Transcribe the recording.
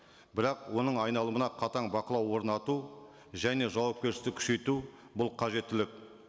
бірақ оның айналымына қатаң бақылау орнату және жауапкершілікті күшейту бұл қажеттілік